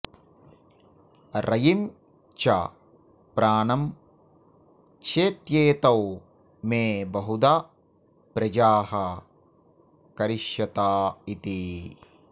रयिं च प्राणं चेत्येतौ मे बहुधा प्रजाः करिष्यत इति